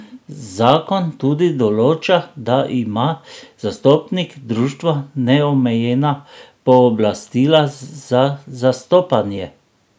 Zakon tudi določa, da ima zastopnik društva neomejena pooblastila za zastopanje.